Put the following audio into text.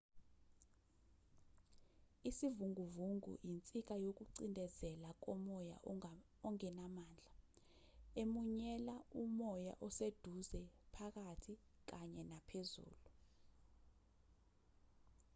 isivunguvungu insika yokucindezela komoya okungenamandla emunyela umoya oseduze phakathi kanye naphezulu